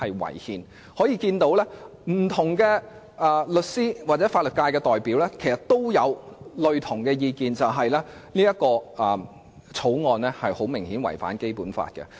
由此可見，不同的法律界代表的意見相若，就是《條例草案》顯然違反《基本法》。